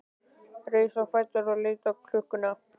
Reis á fætur og leit á klukkuna.